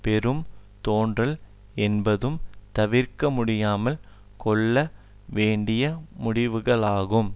பெரும் தோன்றல் என்பதும் தவிர்க்க முடியாமல் கொள்ள வேண்டிய முடிவுகளாகும்